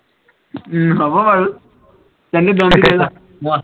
উম হব বাৰু কাইলে দম দি দেগৈ যা মই